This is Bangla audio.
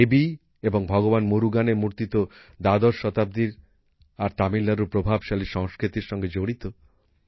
দেবী এবং ভগবান মুরুগানের মুর্তি তো দ্বাদশ শতাব্দীর আর তামিলনাড়ুর প্রভাবশালী সংস্কৃতির সঙ্গে জড়িত